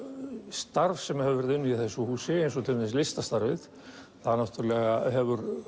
starf sem hefur verið unnið í þessu húsi eins og til dæmis listastarfið það náttúrulega hefur